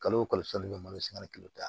Kalo o kalo san nin bɛ malosiya ni kalo ta ye